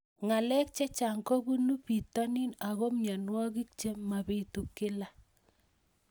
Ng'alek chechang' kopunu pitonin ako mianwogik che mapitu kila